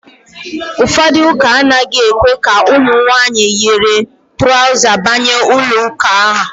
Ụfọdụ ụ́kà anaghị èkwé ka ụmụ nwaanyị yiri traụza banye n'ụlọụ́kà ha.